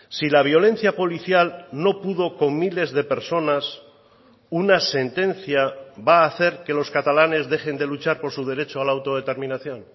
si la violencia policial no pudo con miles de personas una sentencia va a hacer que los catalanes dejen de luchar por su derecho a la autodeterminación